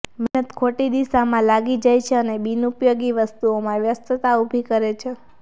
મહેનત ખોટી દિશામાં લાગી જાય છે અને બિનઉપયોગી વસ્તુઓમાં વ્યસ્તતા ઊભી કરે છે